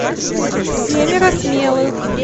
семеро смелых